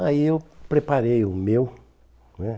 Aí eu preparei o meu, né?